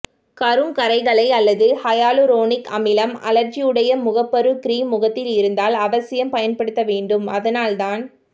கருங்கறைகளை அல்லது ஹையலூரோனிக் அமிலம் அழற்சியுடைய முகப்பரு க்ரீம் முகத்தில் இருந்தால் அவசியம் பயன்படுத்த வேண்டும் அதனால் தான்